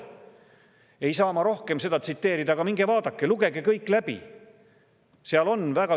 Ma ei saa seda rohkem tsiteerida, aga minge vaadake ja lugege kõik läbi!